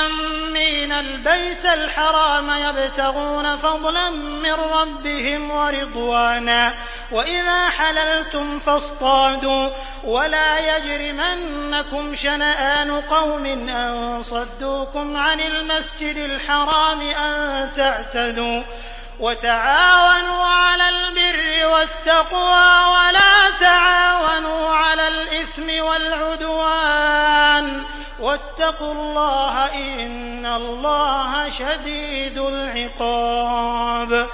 آمِّينَ الْبَيْتَ الْحَرَامَ يَبْتَغُونَ فَضْلًا مِّن رَّبِّهِمْ وَرِضْوَانًا ۚ وَإِذَا حَلَلْتُمْ فَاصْطَادُوا ۚ وَلَا يَجْرِمَنَّكُمْ شَنَآنُ قَوْمٍ أَن صَدُّوكُمْ عَنِ الْمَسْجِدِ الْحَرَامِ أَن تَعْتَدُوا ۘ وَتَعَاوَنُوا عَلَى الْبِرِّ وَالتَّقْوَىٰ ۖ وَلَا تَعَاوَنُوا عَلَى الْإِثْمِ وَالْعُدْوَانِ ۚ وَاتَّقُوا اللَّهَ ۖ إِنَّ اللَّهَ شَدِيدُ الْعِقَابِ